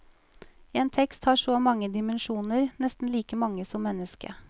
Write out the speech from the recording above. En tekst har så mange dimensjoner, nesten like mange som mennesket.